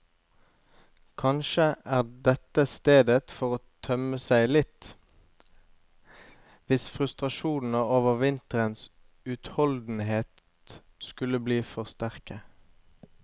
Kanskje er dette stedet for å tømme seg litt, hvis frustrasjonene over vinterens utholdenhet skulle bli for sterke.